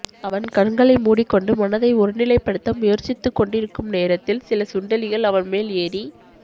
அவன் கண்களை மூடிக்கொண்டு மனதை ஒருநிலைப்படுத்த முயற்சித்துக் கொண்டிருக்கும் நேரத்தில் சில சுண்டெலிகள் அவன்மேல் ஏறி